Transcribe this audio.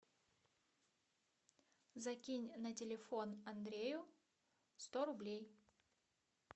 закинь на телефон андрею сто рублей